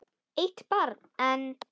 Eitt barn enn?